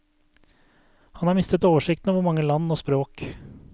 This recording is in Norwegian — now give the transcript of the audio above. Han har mistet oversikten over hvor mange land og språk.